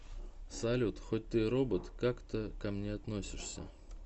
салют хоть ты и робот как ты ко мне относишься